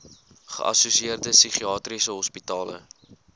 geassosieerde psigiatriese hospitale